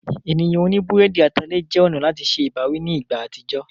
Ènìyàn oní búrẹ́dì atalẹ̀ jẹ́ ọ̀nà láti se ìbáwí ní ìgbà àtijọ́.